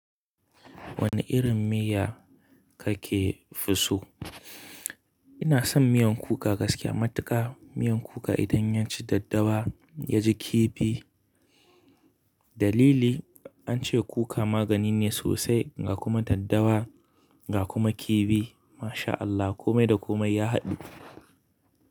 Wane irin miya kake fi so? Ina son miyan kuka gaskiya matuka. Miyar kuka idan ya ci daddawa ya ji kifi. Dalili an ce kuka magani ne sosai ga kuma daddawa ga kuma kifi. MashaAllah komai da komai ya haɗu.